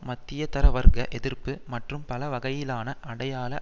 மத்தியதர வர்க்க எதிர்ப்பு மற்றும் பல வகையிலான அடையாள